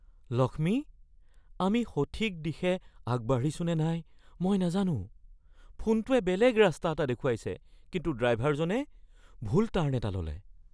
লক্ষ্মী, আমি সঠিক দিশে আগবাঢ়িছো নে নাই মই নাজানো। ফোনটোৱে বেলেগ ৰাস্তা এটা দেখুৱাইছে কিন্তু ড্ৰাইভাৰজনে ভুল টাৰ্ণ এটা ল’লে।